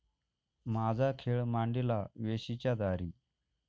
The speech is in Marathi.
माझा खेळ मांडीला वेशीच्या दारी